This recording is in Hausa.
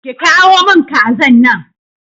ki kawo min kazan nan.